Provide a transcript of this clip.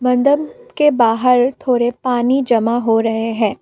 के बाहर थोड़े पानी जमा हो रहे हैं।